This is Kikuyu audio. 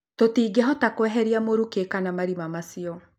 Tũtingĩhota kweheria mũruke kana marima macio